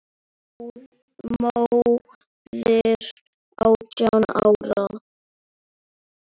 Móðir átján ára?